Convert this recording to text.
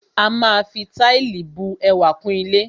A máa fi Táìlì bu ẹwà kún ilé